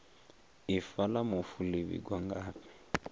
ifa la mufu li vhigwa ngafhi